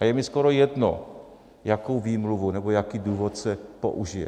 A je mi skoro jedno, jaká výmluva nebo jaký důvod se použije.